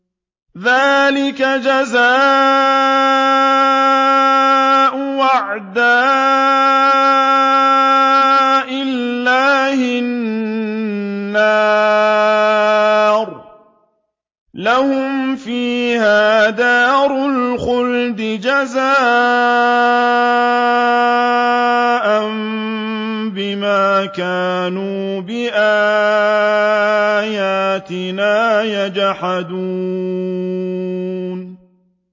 ذَٰلِكَ جَزَاءُ أَعْدَاءِ اللَّهِ النَّارُ ۖ لَهُمْ فِيهَا دَارُ الْخُلْدِ ۖ جَزَاءً بِمَا كَانُوا بِآيَاتِنَا يَجْحَدُونَ